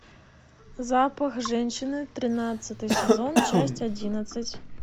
запах женщины тринадцатый сезон часть одиннадцать